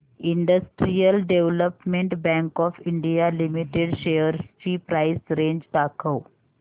industrial Development Bank of India Limited shares ची price range दाखव